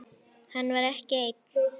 Hann var ekki einn.